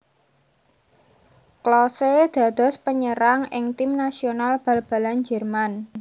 Klose dados panyerang ing tim nasional bal balan Jérman